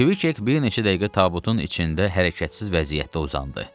Kviçek bir neçə dəqiqə tabutun içində hərəkətsiz vəziyyətdə uzandı.